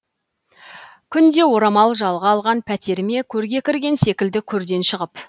күнде оралам жалға алған пәтеріме көрге кірген секілді көрден шығып